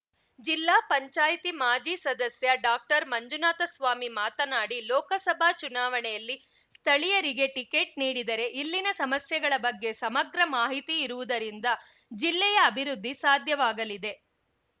ಜಿಲ್ಲಾ ಪಂಚಾಯತಿ ಮಾಜಿ ಸದಸ್ಯ ಡಾಕ್ಟರ್ಮಂಜುನಾಥ ಸ್ವಾಮಿ ಮಾತನಾಡಿ ಲೋಕಸಭಾ ಚುನಾವಣೆಯಲ್ಲಿ ಸ್ಥಳೀಯರಿಗೆ ಟಿಕೆಟ್‌ ನೀಡಿದರೆ ಇಲ್ಲಿನ ಸಮಸ್ಯೆಗಳ ಬಗ್ಗೆ ಸಮಗ್ರ ಮಾಹಿತಿ ಇರುವುದರಿಂದ ಜಿಲ್ಲೆಯ ಅಭಿವೃದ್ಧಿ ಸಾಧ್ಯವಾಗಲಿದೆ